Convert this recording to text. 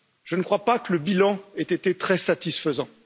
Je ne crois pas que le bilan ait été très satisfaisant.